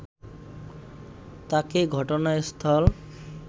তাকে ঘটনাস্থল